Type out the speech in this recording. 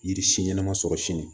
Yiri si ɲɛnama sɔrɔ sini